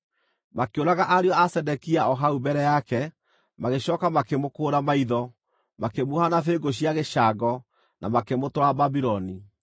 Makĩũraga ariũ a Zedekia o hau mbere yake, magĩcooka makĩmũkũũra maitho, makĩmuoha na bĩngũ cia gĩcango, na makĩmũtwara Babuloni.